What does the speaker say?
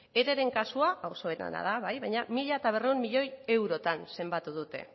ereren kasua hau psoeren da bai baina mila berrehun miloi eurotan zenbatu dute